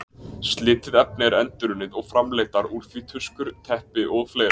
Slitið efni er endurunnið og framleiddar úr því tuskur, teppi og fleira.